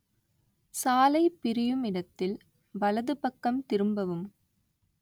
சாலை பிரியும் இடத்தில் வலதுபக்கம் திரும்பவும்